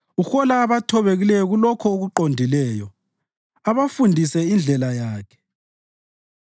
Uhola abathobekileyo kulokho okuqondileyo abafundise indlela yakhe.